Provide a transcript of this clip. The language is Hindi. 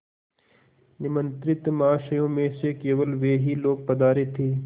निमंत्रित महाशयों में से केवल वे ही लोग पधारे थे